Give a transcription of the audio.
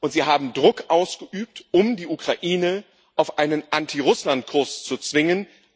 Und Sie haben Druck ausgeübt, um die Ukraine auf einen Anti Russlandkurs zu zwingen.